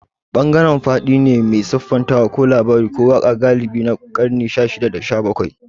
Bangaren faɗi ne mai siffantawa ko labari ko waƙa galibi na ƙarni na shashida da shabakwai.